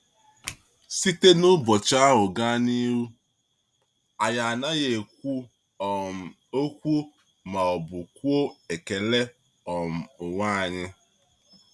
Site n’ụbọchị ahụ gaa n’ihu, anyị anaghị ekwu um okwu ma ọ bụ kwụọ ekele um onwe anyị.